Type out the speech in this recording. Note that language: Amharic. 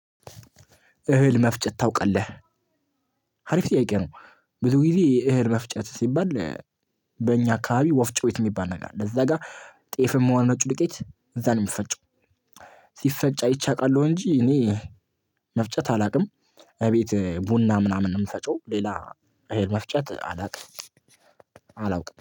እህል መፍጨት ታውቃለህ? አሪፍ ጥያቄ ነው። ብዙ ጊዜ የእህል መፍጨት ሲባል በእኛ አካባቢ ወፍጮ ቤት የሚባል ነገር አለ። እዛ ጋር ጤፍም ሆነ ነጭ ዱቄት እዛ ነው የሚፈጨው። ሲፈጨው አይቼ አውቃለሁ እንጂ እኔ መፍጨት አላውቅም። እቤት ቡና ምናምን ነው የምፈጨው ሌላ እህል መፍጨት አላውቅም አላውቅም።